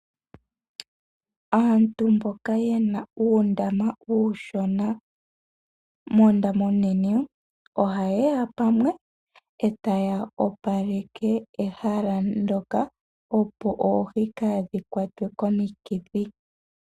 Aantu mboka yena uundama uushona noondama oonene oha yeya mpamwe etaya opaleke ehala ndyoka opo oohi kaadhi kwatwe komikithi.